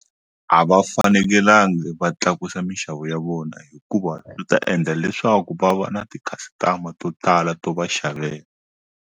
A va fanekelanga va tlakusa mixavo ya vona hikuva swi ta endla leswaku va va na ti-customer to tala to va xavela.